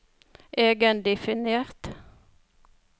egendefinert